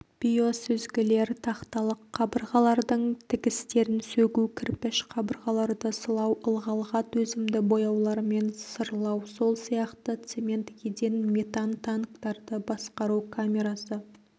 биосүзгілер тақталық қабырғалардың тігістерін сөгу кірпіш қабырғаларды сылау ылғалға төзімді бояулармен сырлау сол сияқты цемент еден метан танктарды басқару камерасы